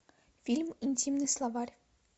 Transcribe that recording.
фильм интимный словарь